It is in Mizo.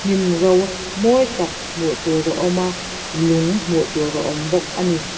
hnim ro mawi tak hmuh tur a awm a lung hmuh tur a awm bawk a ni.